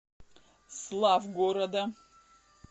славгорода